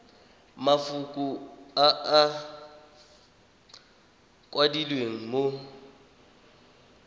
mafoko a a kwadilweng mo